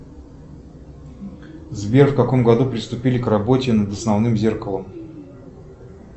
сбер в каком году приступили к работе над основным зеркалом